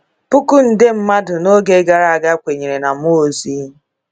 Puku nde mmadụ n’oge gara aga kwenyere na mmụọ ozi.”